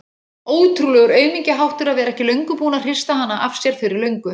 Ótrúlegur aumingjaháttur að vera ekki búinn að hrista hana af sér fyrir löngu.